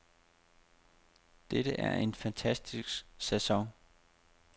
Det er en fantastisk sæson.